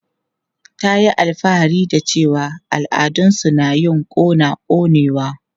Ta yi alfahari da cewa al'adun su na yin kona konewa.